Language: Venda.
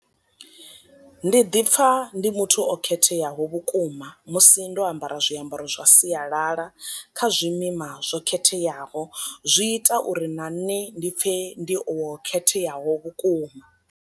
Ndi ḓi pfa ndi muthu o khetheaho vhukuma musi ndo ambara zwiambaro zwa sialala kha zwimima zwo khetheaho, zwi ita uri na nṋe ndi pfe ndi o khetheaho vhukuma.